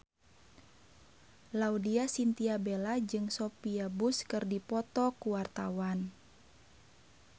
Laudya Chintya Bella jeung Sophia Bush keur dipoto ku wartawan